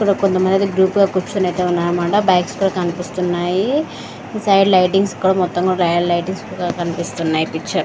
ఇక్కడ కొంతమంది గ్రూప్లో అయితే కూర్చుని ఉన్నారన్నమాట బ్యాక్ సైడ్ అయితే కనిపిస్తున్నారు ఇటు సైడ్ లైటింగ్స్ అన్నీ కూడా మొత్తం కనిపిస్తున్నాయి.